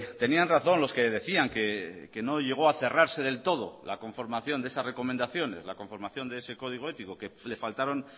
tenían razón los que decían que no llegó a cerrarse del todo la conformación de esas recomendaciones la conformación de ese código ético que le faltaron